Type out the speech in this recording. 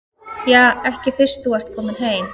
Ja, ekki fyrst þú ert kominn heim.